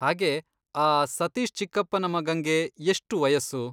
ಹಾಗೇ, ಆ ಸತೀಶ್ ಚಿಕ್ಕಪ್ಪನ ಮಗಂಗೆ ಎಷ್ಟು ವಯಸ್ಸು?